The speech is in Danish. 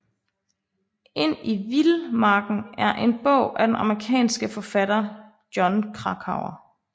Ind i Vilmarken er en bog af den amerikanske forfatter Jon Krakauer